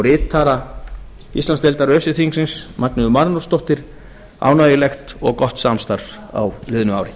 ritara íslandsdeildar öse þingsins magneu marinósdóttur ánægjulegt og gott samstarf á liðnu ári